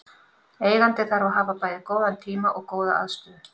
Eigandinn þarf að hafa bæði góðan tíma og góða aðstöðu.